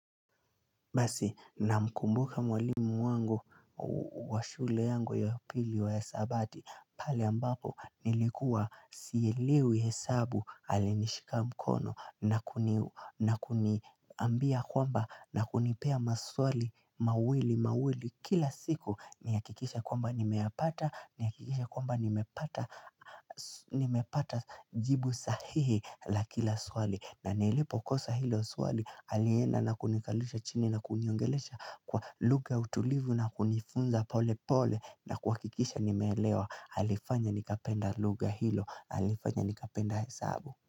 Basi namkumbuka mwalimu wangu wa shule yangu ya upili wa hisabati pale ambapo nilikuwa sielewi hesabu alinishika mkono na kuni na kuniambia kwamba na kunipea maswali mawili mawili Kila siku nihakikishe kwamba nimeyapata nihakikisha kwamba nimepata nimepata jibu sahihi la kila swali na nilipokosa hilo swali, alienda na kunikalisha chini na kuniongelesha kwa lugha ya utulivu na kunifunza pole pole na kuhakikisha nimeelewa alifanya nikapenda lugha hilo, alifanya nikapenda hesabu.